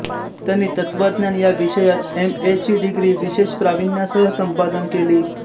त्यांनी तत्त्वज्ञान या विषयात एम ए ची डिग्री विशेष प्राविण्यासह संपादन केली